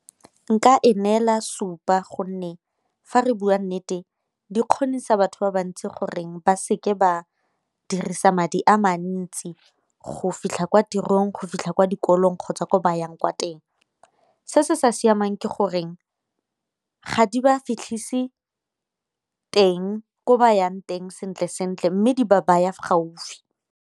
Nka e neela supa gonne fa re bua nnete di kgonisa batho ba bantsi goreng ba seke ba dirisa madi a mantsi go fitlha kwa tirong go fitlha kwa kolong kgotsa ko ba yang kwa teng. Se se sa siamang ke goreng ga di ba fitlhise teng ko ba yang teng sentle sentle mme di ba baya gaufi.